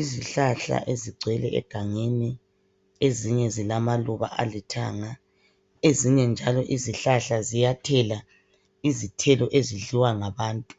Izihlahla ezigcwele egangeni, ezinye zilamaluba alithanga. Ezinye njalo izihlahla ziyathela izithelo ezidliwa ngabantu.